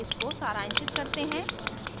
इसको सारांशित करते हैं